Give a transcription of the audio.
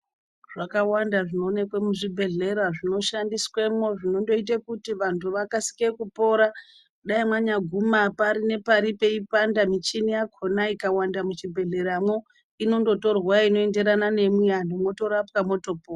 Zvakawanda zvinoonekwa muzvibhedhlera zvinoshandiswa zvinoita kuti vantu vakasike kupona zvinoita kuti dai mangaguma pari nepari peipanda michini yakona ikawanda muzvibhedhleramwo inongotorwa inoenderana nemi vantu motorapwa motopona.